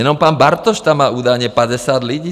Jenom pan Bartoš tam má údajně 50 lidí.